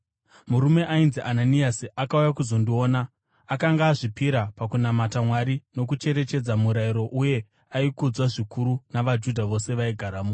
“Murume ainzi Ananiasi akauya kuzondiona. Akanga akazvipira pakunamata Mwari nokucherechedza murayiro uye aikudzwa zvikuru navaJudha vose vaigaramo.